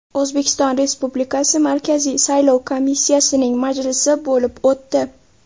O‘zbekiston Respublikasi Markaziy saylov komissiyasining majlisi bo‘lib o‘tdi.